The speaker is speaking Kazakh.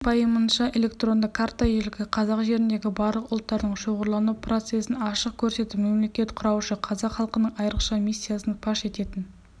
президентінің пайымынша электронды карта ежелгі қазақ жеріндегі барлық ұлттардың шоғырлану процесін ашық көрсетіп мемлекет құраушы қазақ халқының айрықша миссиясын паш ететін